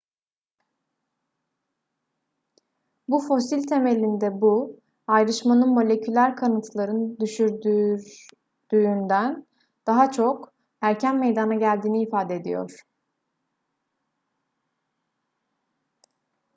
bu fosil temelinde bu ayrışmanın moleküler kanıtların düşündürdüğünden çok daha erken meydana geldiğini ifade ediyor